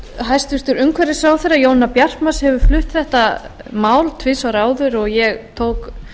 hæstvirtur umhverfisráðherra jónína bjartmarz hefur flutt þetta mál tvisvar áður og ég tók